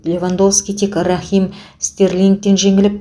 левандовски тек рахим стерлингтен жеңіліп